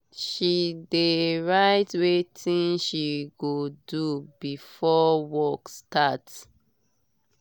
she dey write wetin she go do before work start